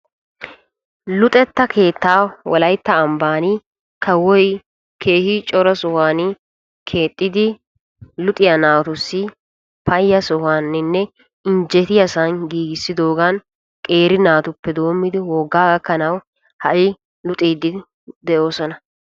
Luxetta keettaa wolayttaa ambbaan kawoy keehi cora sohuwaan keexxidi luxiyaa naatussi payya sohuwaaninne injjetiyaa sohuwaan giigissidoogan qeeri naatuppe doommidi woggaa gakkanawu ha'i luxxiidi de'oosona.